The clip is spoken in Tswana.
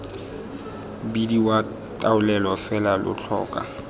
bidiwa taolelo fela lo tlhoka